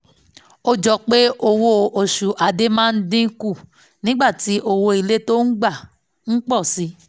ó jọ pé owó oṣù ade máa ń dín kù nígbà tí owó ilé tó ń gbà ń pọ̀ sí i